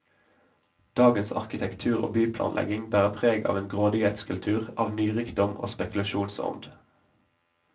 Dagens arkitektur og byplanlegging bærer preg av en grådighetskultur, av nyrikdom og spekulasjonsånd.